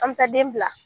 An bɛ taa den bila